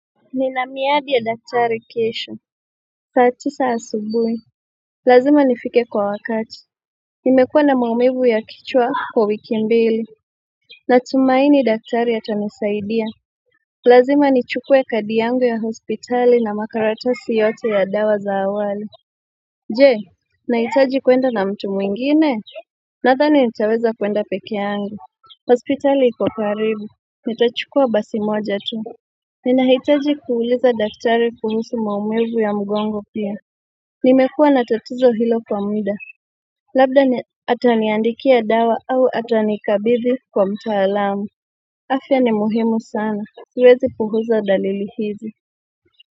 Nina miadi ya daktari kesho saa tisa asubuhi Lazima nifike kwa wakati Nimekua na maumivu ya kichwa kwa wiki mbili Natumaini daktari atanisaidia Lazima nichukue kadi yangu ya hospitali na makaratasi yote ya dawa za awali Jee Nahitaji kuenda na mtu mwingine Nadhani nitaweza kuenda peke yangu hospitali iko karibu Nitachukua basi moja tu Nina hitaji kuuliza daktari kuhusu maumivu ya mgongo pia Nimekuwa na tatizo hilo kwa muda Labda ataniandikia dawa au atanikabizi kwa mtaalamu afya ni muhimu sana siwezi puuza dalili hizi.